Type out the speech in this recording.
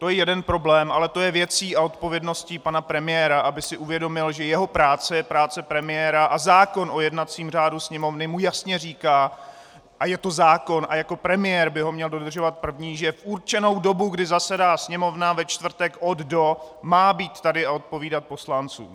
To je jeden problém, ale to je věcí a odpovědností pana premiéra, aby si uvědomil, že jeho práce je práce premiéra a zákon o jednacím řádu Sněmovny mu jasně říká - a je to zákon a jako premiér by ho měl dodržovat první -, že v určenou dobu, kdy zasedá Sněmovna, ve čtvrtek od do má být tady a odpovídat poslancům.